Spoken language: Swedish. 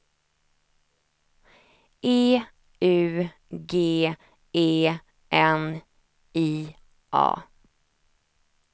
E U G E N I A